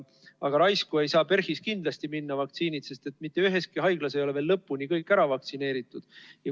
Aga raisku ei saa PERH-is kindlasti vaktsiinid minna, sest mitte üheski haiglas ei ole veel kõik ära vaktsineeritud.